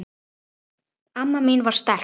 Amma mín var sterk.